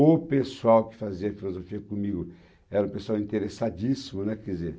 O pessoal que fazia filosofia comigo era um pessoal interessadíssimo, né, quer dizer